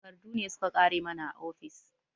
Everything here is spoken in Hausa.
Takardu ne su ka ƙare mana a ofis